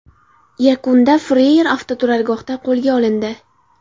Yakunda Freyr avtoturargohda qo‘lga olindi.